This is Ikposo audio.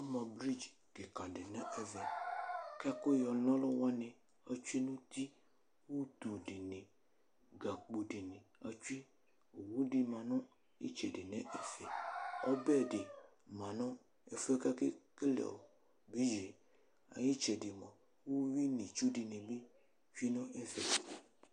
Ama bridz kika di nʋ ɛvɛ, kʋ ɛkʋ yɔna ɔlʋwani atsʋe nʋ uti, utu dini gakpo dini atsue Owʋ di manʋ itsɛdi nʋ ɛfɛ, ɔbɛdi manʋ ɛfʋ yɛ kʋ akekele bridzie ayʋ itsɛdi uwi nʋ itsʋ dini bi tsue nʋ ɛfɛ